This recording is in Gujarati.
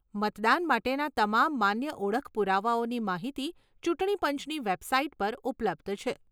મતદાન માટેના તમામ માન્ય ઓળખ પુરાવાઓની માહિતી ચૂંટણી પંચની વેબસાઇટ પર ઉપલબ્ધ છે.